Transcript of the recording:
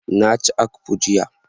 Na ci akpu jiya.